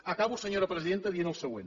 acabo senyora presidenta dient el següent